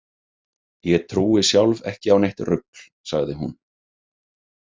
Ég trúi sjálf ekki á neitt rugl, sagði hún.